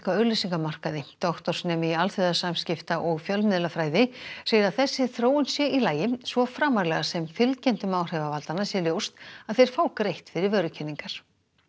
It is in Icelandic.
á auglýsingamarkaði doktorsnemi í alþjóðasamskipta og fjölmiðlafræði segir að þessi þróun sé í lagi svo framarlega sem fylgjendum áhrifavaldanna sé ljóst að þeir fái greitt fyrir vörukynningar